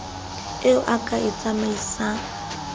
eo o ka e tsamaisang